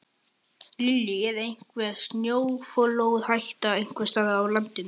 Lillý: Er einhver snjóflóðahætta einhvers staðar á landinu?